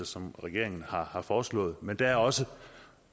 som regeringen har har foreslået men der er også